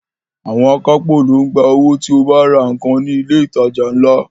Àwọn akápò ló ń gba owó tí o bá ra nǹkan ní ilé ìtajà ńlá